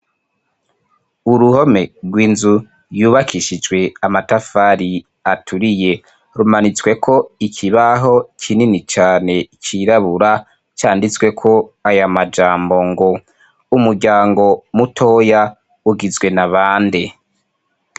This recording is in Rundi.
Uruhome rw'inzu yubakishijwe amatafari aturiye rumanitswe ko ikibaho kinini cyane cyirabura canditsweko aya majambo ngo : Umuryango mutoya ugizwe na bande?